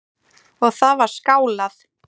Og það var skálað.